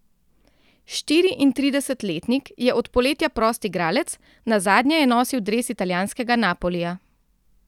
Štiriintridesetletnik je od poletja prost igralec, nazadnje je nosil dres italijanskega Napolija.